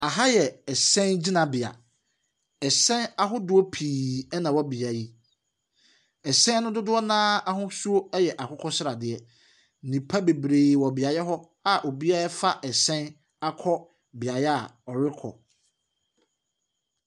Aha yɛ hyɛn gyinabea. Ɛhyɛn ahodoɔ pii na ɛwɔ beaeɛ yi. Ɛhyɛno no dodoɔ no ara ahosuo yɛ akokɔ sradeɛ. Nnipa bebree wɔ beaeɛ hɔ a obiara afa hyɛn akɔ beaeɛ a ɔrekɔ.